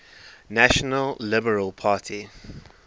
national liberal party